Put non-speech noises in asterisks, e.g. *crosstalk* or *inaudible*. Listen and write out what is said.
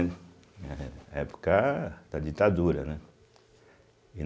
*unintelligible* eh época da ditadura, né.